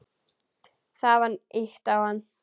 Það var ýtt á hann.